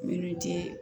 Miniti